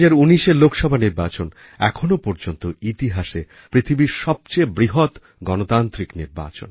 ২০১৯এর লোকসভা নির্বাচন এখনও পর্যন্ত ইতিহাসে পৃথিবীর সবচেয়ে বৃহৎ গণতান্ত্রিক নির্বাচন